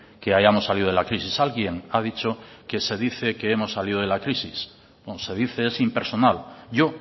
que hayamos salido de la crisis alguien ha dicho que se dice que hemos salido de la crisis se dice es impersonal yo